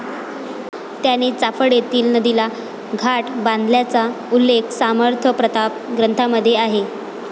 त्यांनी चाफळ येथील नदीला घाट बांधल्याचा उल्लेख समर्थप्रताप ग्रंथामध्ये आहे.